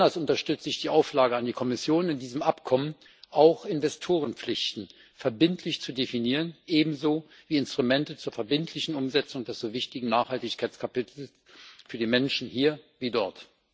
Besonders unterstütze ich die Auflage an die Kommission, in diesem Abkommen auch Investorenpflichten verbindlich zu definieren, ebenso wie Instrumente zur verbindlichen Umsetzung des so wichtigen Nachhaltigkeitskapitels für die Menschen hier wie dort.